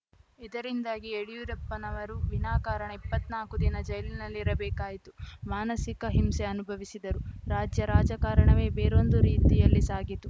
ಇದರಿಂದಾಗಿ ಯಡಿಯೂರಪ್ಪನವರು ವಿನಾಕಾರಣ ಇಪ್ಪತ್ನಾಲ್ಕು ದಿನ ಜೈಲಿನಲ್ಲಿ ಇರಬೇಕಾಯಿತು ಮಾನಸಿಕ ಹಿಂಸೆ ಅನುಭವಿಸಿದರು ರಾಜ್ಯ ರಾಜಕಾರಣವೇ ಬೇರೊಂದು ರೀತಿಯಲ್ಲಿ ಸಾಗಿತು